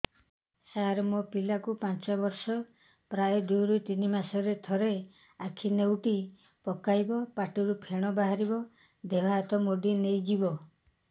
ସାର ମୋ ପିଲା କୁ ପାଞ୍ଚ ବର୍ଷ ପ୍ରାୟ ଦୁଇରୁ ତିନି ମାସ ରେ ଥରେ ଆଖି ନେଉଟି ପକାଇବ ପାଟିରୁ ଫେଣ ବାହାରିବ ଦେହ ହାତ ମୋଡି ନେଇଯିବ